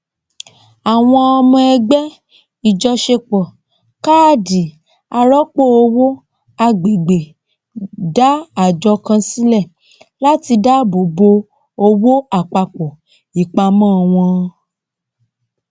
àwọn ọmọ ẹgbẹ ìjọṣepọ káàdì arọpò owó agbègbè dá àjọ kan sílẹ láti dáàbò bo owó àpapọ ìpamọ wọn